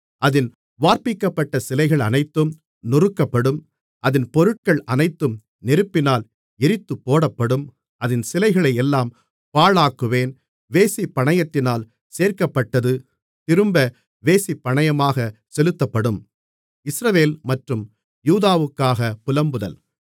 அதின் வார்ப்பிக்கப்பட்ட சிலைகள் அனைத்தும் நொறுக்கப்படும் அதின் பொருட்கள் அனைத்தும் நெருப்பினால் எரித்துப்போடப்படும் அதின் சிலைகளை எல்லாம் பாழாக்குவேன் வேசிப்பணையத்தினால் சேர்க்கப்பட்டது திரும்ப வேசிப்பணையமாகச் செலுத்தப்படும்